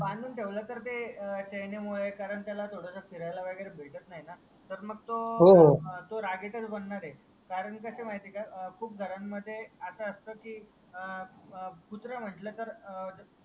बांधून ठेवल तर तर चईने मुदे कारण त्याला थोडस फहिरेल वागेरे भेटत नाही ना तर मग तो रागीटस बणार आहे कारण कसे आहे माहिती का खूप घरामध्ये आस असत की अं कुत्रा म्हटल की